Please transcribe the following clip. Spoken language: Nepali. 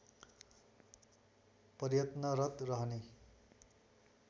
प्रयत्नरत रहने